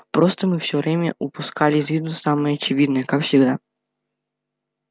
просто мы всё время упускали из виду самое очевидное как всегда